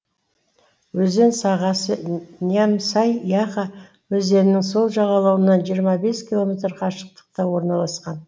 өзен сағасы нямсай яха өзенінің сол жағалауынан жиырма бес километр қашықтықта орналасқан